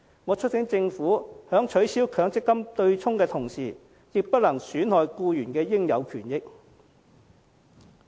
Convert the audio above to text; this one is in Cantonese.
我促請政府在取消強積金對沖的同時，亦不能損害僱員的應有權益。